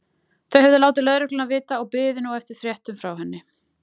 Þau höfðu látið lögregluna vita og biðu nú eftir fréttum frá henni.